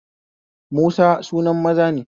Musa sunan maza ne